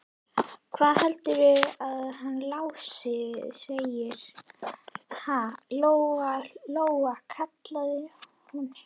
Hvað heldurðu að hann Lási segði, ha, Lóa Lóa, kallaði hún.